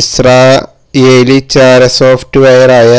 Israeli ചാരസോഫ്്റ്റ് വെയറായ